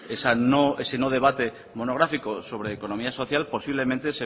ese no debate monográfico sobre economía social posiblemente